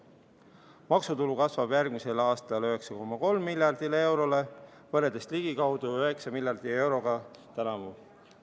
Maksutulu kasvab järgmisel aastal 9,3 miljardile eurole võrreldes ligikaudu 9 miljardi euroga tänavu.